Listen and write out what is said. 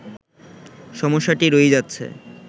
সমস্যাটি রয়েই যাচ্ছে